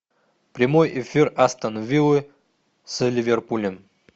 прямой эфир астон виллы с ливерпулем